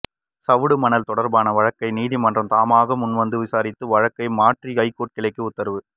சவுடு மணல் தொடர்பான வழக்கை நீதிமன்றம் தாமாக முன்வந்து விசாரிக்கும் வழக்காக மாற்றி ஐகோர்ட் கிளை உத்தரவு